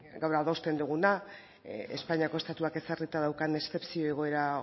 gaur adosten duguna espainiako estatuak ezarrita daukan eszepzio egoera